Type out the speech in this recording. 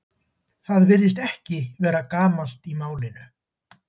Það virðist ekki vera gamalt í málinu.